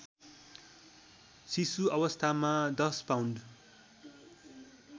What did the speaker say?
शिशुअवस्थामा १० pound